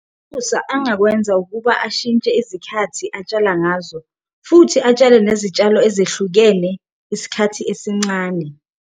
uNomsa angakwenza ukuba ashintshe izikhathi atshala ngazo futhi atshale nezitshalo ezehlukene isikhathi esincane.